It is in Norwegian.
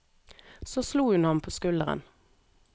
Så slo hun ham på skulderen.